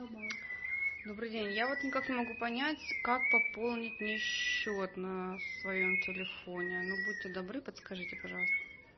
добрый день я вот никак не могу понять как пополнить мне счет на своем телефоне ну будьте добры подскажите пожалуйста